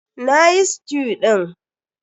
Na yi stew ɗin.